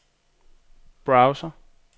browser